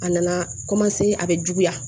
A nana a bɛ juguya